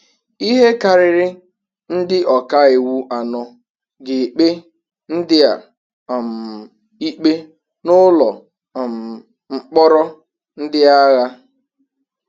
ihe karịrị ndị ọka iwu anọ ga-ekpe ndị a um ikpe n'ụlọ um mkpọrọ ndị agha